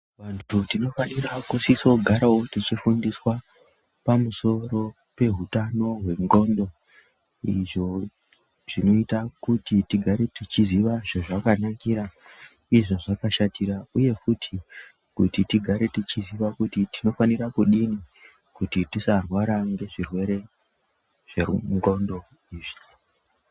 Vantu tinofanira kusiso garao tichi fundiswa negzveutano hwendxondo izvo zvinoita kuti tigare tichiziva zvazvakanakira nezvazvakashatira uye futi kuti tigare tichiziva kuti tinofanira kudini kuti tisarwara ngezvirwere zvendxondo izvi.